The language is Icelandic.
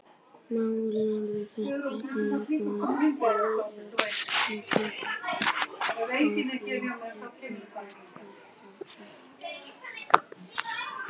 Málarinn þekkti hjónin vel og er líklegt að myndin beri þess merki.